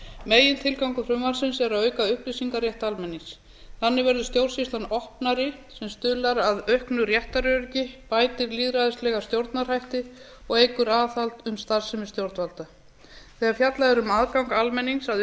megintilgangur frumvarpsins er að auka upplýsingarétt almennings þannig verður stjórnsýslan opnari sem stuðlar að auknu réttaröryggi bætir lýðræðislega stjórnarhætti og eykur aðhald um starfsemi stjórnvalda þegar fjallað er um aðgang almennings að